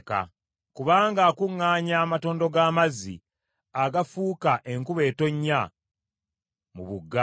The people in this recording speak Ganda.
“Kubanga akuŋŋaanya amatondo g’amazzi, agafuuka enkuba etonnya mu bugga;